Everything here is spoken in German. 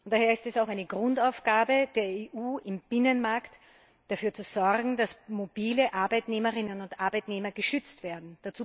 Daher ist es auch eine Grundaufgabe der EU, im Binnenmarkt dafür zu sorgen, dass mobile Arbeitnehmerinnen und Arbeitnehmer geschützt werden.